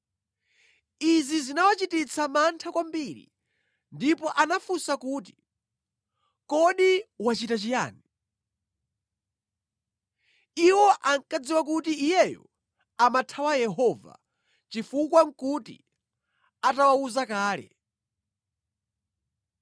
Izi zinawachititsa mantha kwambiri ndipo anafunsa kuti, “Kodi wachita chiyani?” (Iwo ankadziwa kuti iyeyo amathawa Yehova, chifukwa nʼkuti atawawuza kale).